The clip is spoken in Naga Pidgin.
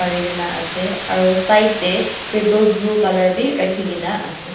kurikina ase aro side de triple blue color b raki kina ase.